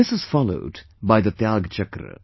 This is followed by the Tyag Chakra